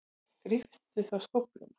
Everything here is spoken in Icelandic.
Gríptu þá skófluna.